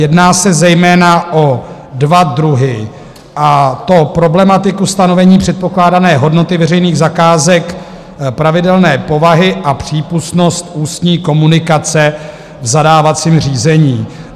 Jedná se zejména o dva druhy, a to problematiku stanovení předpokládané hodnoty veřejných zakázek pravidelné povahy a přípustnost ústní komunikace v zadávacím řízení.